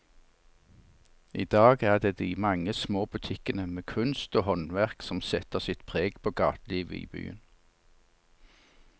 I dag er det de mange små butikkene med kunst og håndverk som setter sitt preg på gatelivet i byen.